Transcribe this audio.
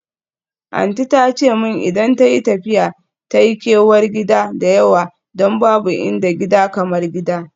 Aunty ta ce min idan tayi tafiya ta yi kewar gida da yawa don babu inda gida kamar gida.